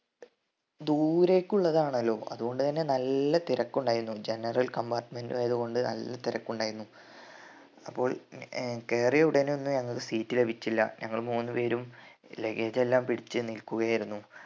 ദൂരെക്കുള്ളതാണല്ലോ അതു കൊണ്ട് തന്നെ നല്ല തിരക്ക് ഉണ്ടായിരുന്നു general compartment ആയതു കൊണ്ട് നല്ല തിരക്ക് ഉണ്ടായിരുന്നു അപ്പോൾ ഏർ കേറിയ ഉടനെയൊന്നും ഞങ്ങക്ക് seat ലഭിച്ചില്ല ഞങ്ങൾ മൂന്നുപേരും leggage എല്ലാം പിടിച്ച് നിൽക്കുകയായിരുന്നു